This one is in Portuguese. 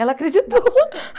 Ela acreditou.